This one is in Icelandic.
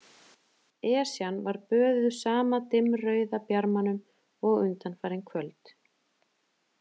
Esjan var böðuð sama dimmrauða bjarmanum og undanfarin kvöld.